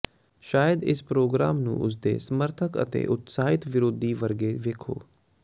ਸ਼ਾਇਦ ਇਸੇ ਪ੍ਰੋਗਰਾਮ ਨੂੰ ਉਸ ਦੇ ਸਮਰਥਕ ਅਤੇ ਉਤਸ਼ਾਹਿਤ ਵਿਰੋਧੀ ਵਰਗੇ ਵੇਖੋ